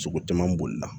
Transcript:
Sogo caman bolila